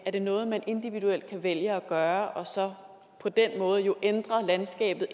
er det noget man individuelt kan vælge at gøre og så på den måde jo ændre landskabet